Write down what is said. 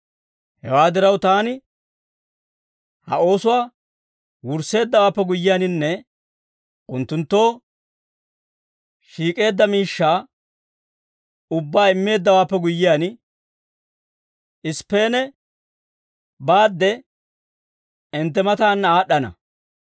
Hewaa diraw, taani ha oosuwaa wursseeddawaappe guyyiyaaninne unttunttoo shiik'eedda miishshaa ubbaa immeeddawaappe guyyiyaan, Isippeene baadde hintte mataanna aad'd'ana.